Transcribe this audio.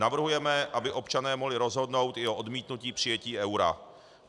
Navrhujeme, aby občané mohli rozhodnout i o odmítnutí přijetí eura.